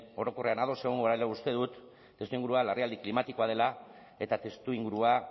orokorrean ados egongo garela uste dut testuingurua larrialdi klimatikoa dela eta testuingurua